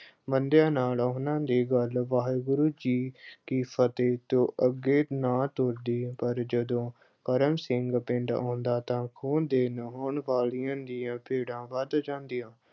ਬੰਦਿਆਂ ਨਾਲ ਉਹਨਾਂ ਦੀ ਗੱਲ ਵਾਹਿਗੁਰੂ ਜੀ ਕੀ ਫਤਿਹ ਤੋਂ ਅੱਗੇ ਨਾ ਤੁਰਦੀ ਪਰ ਜਦੋਂ ਕਰਮ ਸਿੰਘ ਪਿੰਡ ਆਉਂਦਾ ਤਾਂ ਉਸ ਦੇ ਚਾਉਂਣ ਵਾਲੀਆਂ ਦੀਆਂ ਭੀੜਾਂ ਵੱਧ ਜਾਂਦੀਆਂ।